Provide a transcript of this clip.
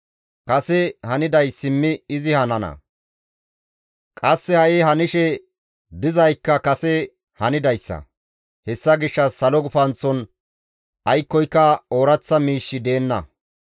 Kase haniday simmi izi hanana; qasse ha7i hanishe dizaykka kase hanidayssa. Hessa gishshas salo gufanththon aykkoyka ooraththa miishshi deenna.